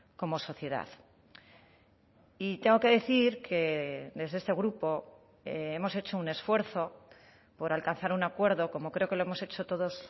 como sociedad y tengo que decir que desde este grupo hemos hecho un esfuerzo por alcanzar un acuerdo como creo que lo hemos hecho todos